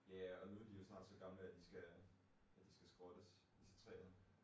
Ja og nu er de jo så snart så gamle at de skal at de skal skrottes, IC3 erne